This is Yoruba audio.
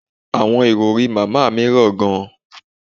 Awọn irọri Mama mi ra gan